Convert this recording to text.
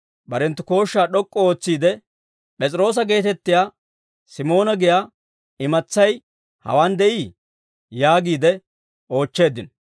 Barenttu kooshshaa d'ok'k'u ootsiide, «P'es'iroosa geetettiyaa Simoona giyaa imatsay hewaan de'ii?» yaagiide oochcheeddino.